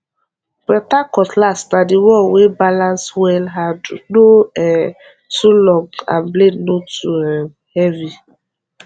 better cutlass na the one wey balance wellhandle no um too long and blade no too um heavy